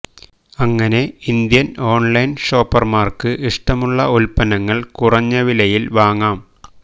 അങ്ങനെ Indian online ഷോപ്പര്മാര്ക്ക് ഇഷ്ടമുളള ഉത്പന്നങ്ങള് കുറഞ്ഞ വിലയില് വാങ്ങാം